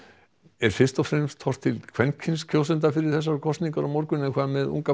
er fyrst og fremst horft til kvenkyns kjósenda fyrir kosningarnar á morgun hvað með unga